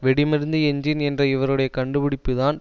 வெடிமருந்து engine என்ற இவருடைய கண்டுபிடிப்புத்தான்